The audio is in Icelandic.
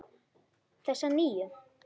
Þessa nýju.